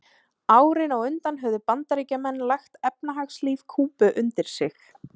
Árin á undan höfðu Bandaríkjamenn lagt efnahagslíf Kúbu undir sig.